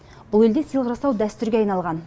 бұл елде сыйлық жасау дәстүрге айналған